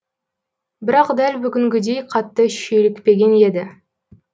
бірақ дәл бүгінгідей қатты шүйлікпеген еді